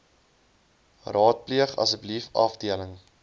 raadpleeg asseblief afdeling